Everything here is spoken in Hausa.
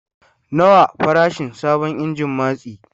Nawa farashin sabon injin matsi?